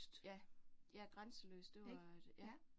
Ja, ja, grænseløst det var et ja